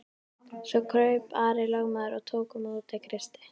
Svo kraup Ari lögmaður og tók á móti Kristi.